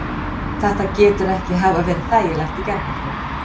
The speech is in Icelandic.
Þetta getur ekki hafa verið þægilegt í gærkvöldi?